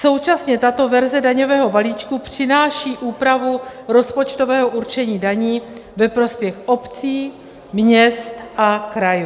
Současně tato verze daňového balíčku přináší úpravu rozpočtového určení daní ve prospěch obcí, měst a krajů.